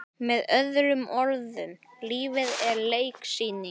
Með öðrum orðum- lífið er leiksýning.